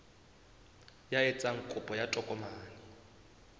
ya etsang kopo ya tokomane